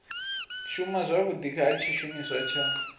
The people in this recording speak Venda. shuma zwavhudi ha tshishumiswa tsha